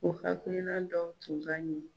O hakilina dɔw tun ka ɲin.